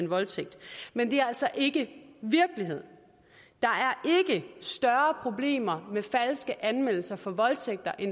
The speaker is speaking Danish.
voldtægt men det er altså ikke virkelighed der er ikke større problemer med falske anmeldelser for voldtægt